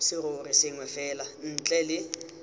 serori sengwe fela ntle le